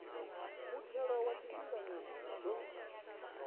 muthelo wa tshifhinganyana u ḓo